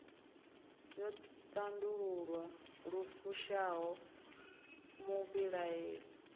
yo tandululwa lu fushaho muvhilaeli